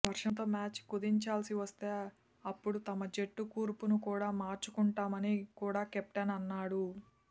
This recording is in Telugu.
వర్షంతో మ్యాచ్ కుదించాల్సి వస్తే అప్పుడు తమ జట్టు కూర్పును కూడా మార్చుకుంటామని కూడా కెప్టెన్ అన్నాడు